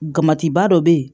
Kamatiba dɔ bɛ yen